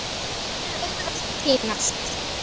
Hér er auðvelt að týnast.